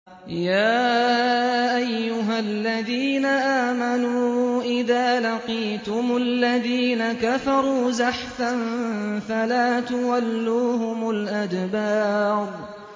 يَا أَيُّهَا الَّذِينَ آمَنُوا إِذَا لَقِيتُمُ الَّذِينَ كَفَرُوا زَحْفًا فَلَا تُوَلُّوهُمُ الْأَدْبَارَ